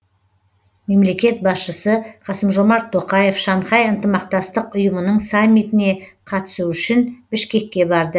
мемлекет басшысы қасым жомарт тоқаев шанхай ынтымақтастық ұйымының саммитіне қатысу үшін бішкекке барды